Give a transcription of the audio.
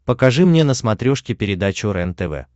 покажи мне на смотрешке передачу рентв